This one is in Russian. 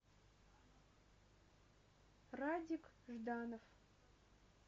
радик жданов